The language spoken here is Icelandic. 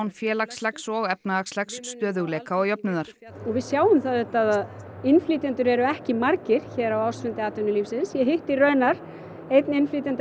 félagslegs og efnahagslegs stöðugleika og jöfnuðar og við sjáum það auðvitað að innflytjendur eru ekki margir hér á ársfundi atvinnulífsins ég hitti raunar einn innflytjanda